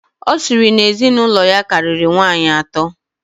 Ọ sịrị na ezinụlọ ya karịrị nwaanyị atọ.